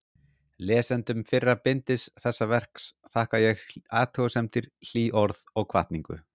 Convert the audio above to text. Lesendum fyrra bindis þessa verks þakka ég athugasemdir, hlý orð og hvatningu.